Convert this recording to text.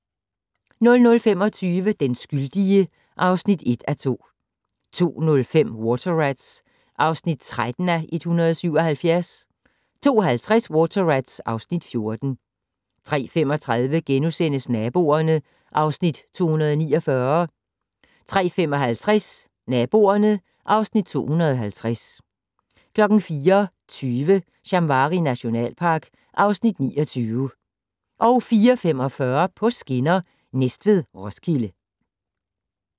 00:25: Den skyldige (1:2) 02:05: Water Rats (13:177) 02:50: Water Rats (14:177) 03:35: Naboerne (Afs. 249)* 03:55: Naboerne (Afs. 250) 04:20: Shamwari nationalpark (Afs. 29) 04:45: På skinner: Næstved-Roskilde